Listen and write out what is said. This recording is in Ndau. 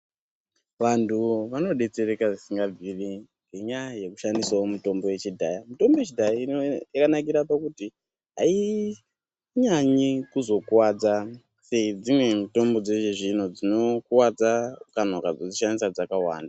Vantu vanodetsereka zvisingabviri ngenyaya yekushandisawo mutombo yekudhaya mitombo yechidhaya yakanakira pakuti inyanyi kuzokuwadza pedzimwe mitombo dzechizvino zvino dzinokuwadza kana ukazodzishandisa dzskawanda.